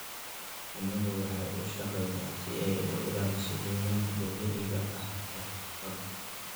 Shinnidu waxay u shaqeysaa si ay u ilaaliso deegaanka dabiiciga ah ee badda.